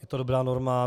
Je to dobrá norma.